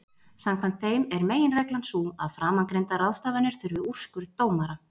Samkvæmt þeim er meginreglan sú að framangreindar ráðstafanir þurfi úrskurð dómara.